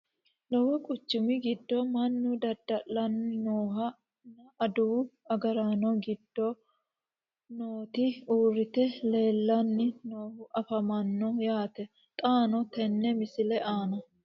Lowo quchummi giddo mannu dada'lanno noohu nna adawu agaraanno giddo nootti uuritte leelanni noohu affammanno yaatte xaanno teenna misile aanna